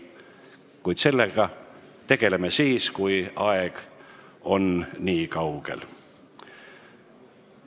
Kuid sellega tegeleme siis, kui aeg on niikaugel.